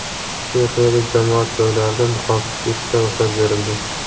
Chexiyada jamoat joylarida niqobsiz yurishga ruxsat berildi.